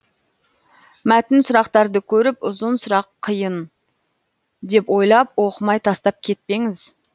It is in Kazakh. мәтін сұрақтарды көріп ұзын сұрақ қиын деп ойлап оқымай тастап кетпеңіз